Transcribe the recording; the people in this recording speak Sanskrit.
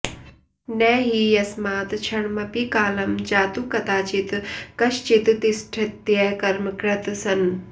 न हि यस्मात् क्षणमपि कालं जातु कदाचित् कश्चित्तिष्ठत्यकर्मकृत् सन्